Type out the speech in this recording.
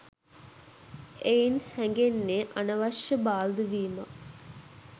එයින් හැගෙන්නේ අනවශ්‍ය බාල්දු වීමක්